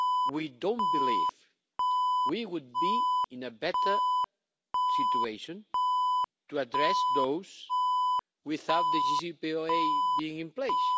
We don't believe that we would be in a better situation to address those without the JCPOA being in place.